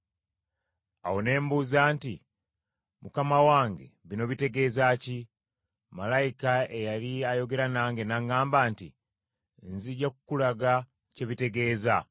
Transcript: Awo ne mbuuza nti, “Mukama wange bino bitegeeza ki?” Malayika eyali ayogera nange n’aŋŋamba nti, “Nzija kukulaga kye bitegeeza.”